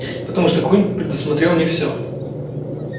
потому что куинн предусмотрел не всё